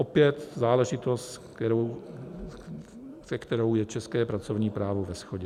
Opět záležitost, se kterou je české pracovní právo ve shodě.